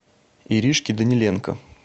иришке даниленко